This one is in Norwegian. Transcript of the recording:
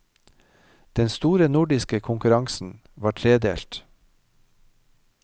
Den store nordiske konkurransen var tredelt.